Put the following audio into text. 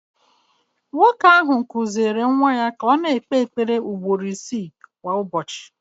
Nwoke ahụ kụziiri nwa ya ka ọ na-ekpe ekpere ugboro isii kwa ụbọchị